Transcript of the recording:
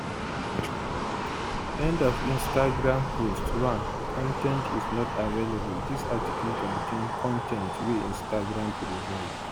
end of instagram post 1 con ten t is not available dis article contain con ten t wey instagram provide